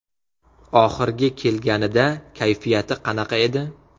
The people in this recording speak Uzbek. Oxirgi kelganida kayfiyati qanaqa edi?